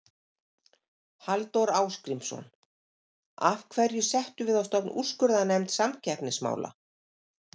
Halldór Ásgrímsson: Af hverju settum við á stofn úrskurðarnefnd samkeppnismála?